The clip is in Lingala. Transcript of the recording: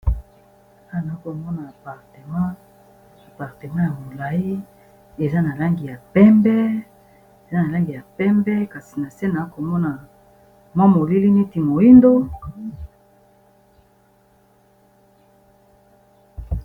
awa nazakomona apartemant ya molai eza na langi ya pembe kasi na se naa komona mwa molili niti moindo